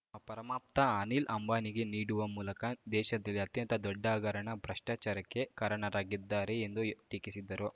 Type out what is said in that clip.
ಅ ಪರಮಾಪ್ತ ಅನಿಲ್‌ ಅಂಬಾನಿಗೆ ನೀಡುವ ಮೂಲಕ ದೇಶದಲ್ಲೇ ಅತ್ಯಂತ ದೊಡ್ಡ ಹಗರಣ ಭ್ರಷ್ಟಾಚಾರಕ್ಕೆ ಕಾರಣರಾಗಿದ್ದಾರೆ ಎಂದು ಟೀಕಿಸಿದ್ದರು